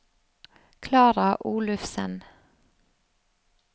Klara Olufsen